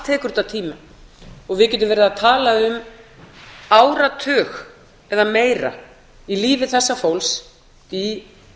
tekur þetta tíma við getum verið að tala um áratug eða meira í lífi þessa fólks í